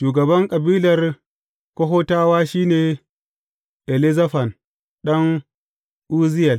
Shugaban kabilar Kohatawa shi ne Elizafan ɗan Uzziyel.